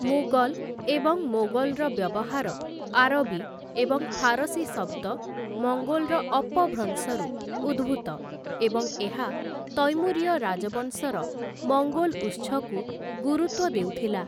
ମୁଗଲ୍‌ ଏବଂ ମୋଗଲ୍‌ର ବ୍ୟବହାର ଆରବୀ ଏବଂ ଫାରସୀ ଶବ୍ଦ ମଙ୍ଗୋଲ୍‌ର ଅପଭ୍ରଂଶରୁ ଉଦ୍ଭୂତ ଏବଂ ଏହା ତୈମୁରିୟ ରାଜବଂଶର ମଙ୍ଗୋଲ୍‌ ଉତ୍ସକୁ ଗୁରୁତ୍ୱ ଦେଉଥିଲା ।